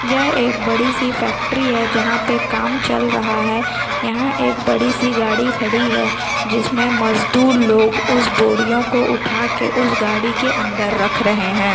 यह एक बड़ी सी फॅक्टरी हैं जहाँ पे काम चल रहा हैं यहाँ एक बड़ी सी गाड़ी खड़ी हैं जिसमें मजदूर लोग उस बोडियो को उठा के उस गाड़ी के अंदर रख रहे हैं।